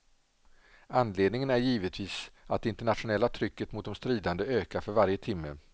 Anledningen är givetvis att det internationella trycket mot de stridande ökar för varje timme.